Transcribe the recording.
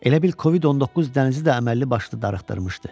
Elə bil COVID-19 dənizi də əməlli başlı darıxdırmışdı.